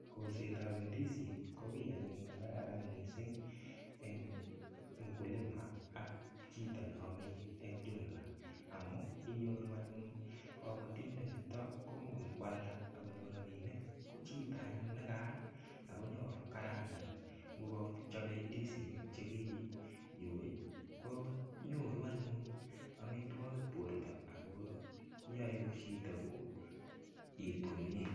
Kolset ap ndisin ko kiy anyun nekararan mising eng mukulima ak chito neomeieng jumla amu inyoru anyun kobotindet nito komokoi koalda akonyor ropinik ko chito anyun nikaal akonyoko kaeangan ngokachopei ndisinik che kiyoi ko nyoru anyun amitwokik borto ako yoe chito koet komie.